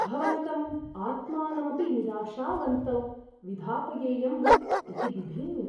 भवन्तं आत्मानमपि निराशावन्तौ विधापयेयम् इति बिभेमि।